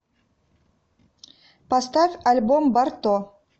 поставь альбом барто